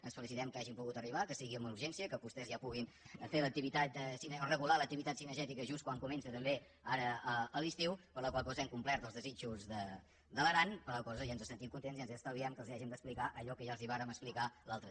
ens felicitem que hi hàgim pogut arribar que sigui amb urgència que vostès ja puguin regular l’activitat cinegè·tica just quan comença també ara l’estiu per la qual co·sa hem complert els desitjos de l’aran per la qual cosa ja ens sentim contents i ja els estalviem que els hàgim d’explicar allò que ja els vàrem explicar l’altre dia